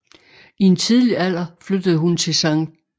I en tidlig alder flyttede hun til St